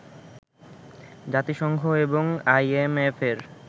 জাতিসংঘ এবং আইএমএএফের